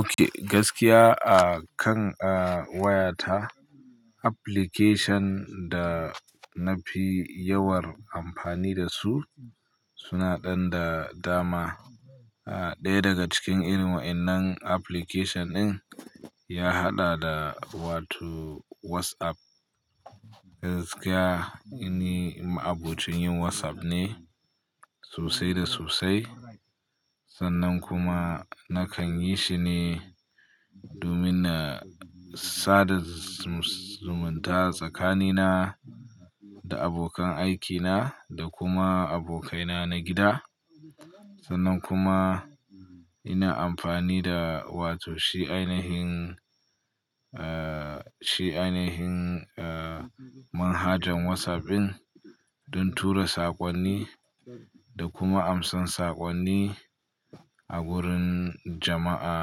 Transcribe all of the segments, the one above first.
Ok, gaskiya akan wayata application da na fi yawar amfani da su suna ɗan da dama. Ɗaya daga cikin irin waɗannan application ɗin ya haɗa da wato WhatsApp. Gaskiya ina ma'abocin yin WhatsApp ne sosai da sosai, sannan kuma nakan yi shi ne domin na sada zumunta tsakanina da abokan aikina da kuma abokaina na gida. Sannan kuma ina amfani da wato shi ainihin, eh shi ainihin manhajan WhatsApp ɗin don tura saƙonni da kuma amsan saƙonni a wurin jama'a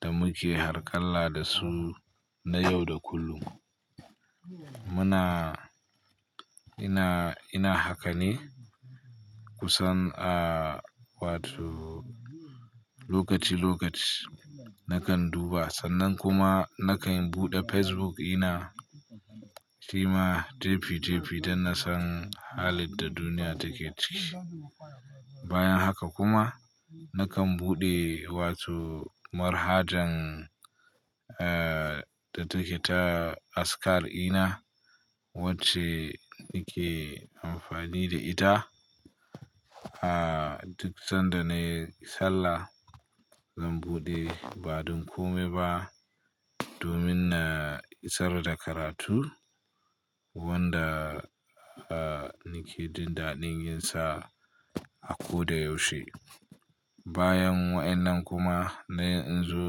da muke harkalla da su na yau da kullum. Muna, ina, ina haka ne kusan a wato lokaci lokaci nakan duba. Sannan kuma nakan buɗe Facebook ina kima jebi jebi don na san halin da duniya take ciki. Bayan haka kuma nakan buɗe wato manhajan da take ta askar ina wacce nake amfani da ita. Duk sanda na yi sallah zan buɗe ba don komi ba domin na isar da karatu wanda nake jin daɗin yin sa a ko da yaushe. Bayan waɗannan kuma na yanzu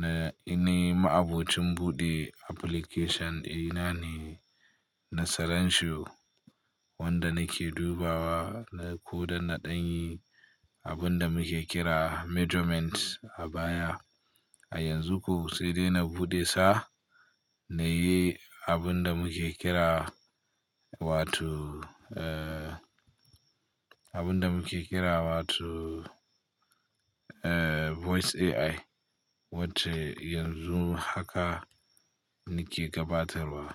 na, ina ma'abocin buɗe application ina ne na sarenshu wanda nake dubawa na ko da na ɗan yi abin da muke kira measurement a baya. A yanzu kuwa sai dai na buɗe sa na yi abin da muke kira wato, abin da muke kira wato voice AI wacce yanzu haka nake gabatarwa.